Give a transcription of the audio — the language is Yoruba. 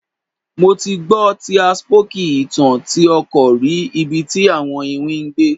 Mo ti gbọ ti a spooky itan ti a ọkọ rì ibi ti awọn iwin gbé